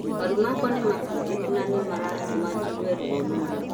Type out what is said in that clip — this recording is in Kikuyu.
marũ makwa nĩ mafujekũ na nĩ maratũma njigue rũo mũno